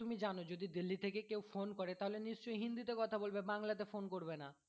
জানো যদি দিল্লি থেকে কেউ phone করে তাহলে নিশ্চয়ই হিন্দি তে কথা বলবে বাংলা তে কথা বলবে না